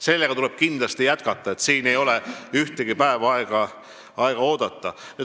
Nendega tuleb kindlasti jätkata, siin ei ole ühtegi päeva aega oodata.